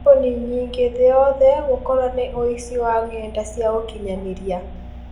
kambuni nyingĩ thĩ yothe gũkorwo nĩ ũici wa ng'enda cia ũkinyaniria.